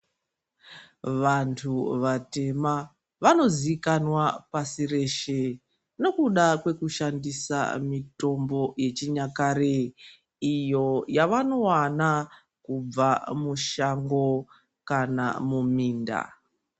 Vantu vatema vanozikanwa pashi reshe nekuda kweku shandisa mitombo yechinyakare iyo yavanowana kubva mushango kana muminda.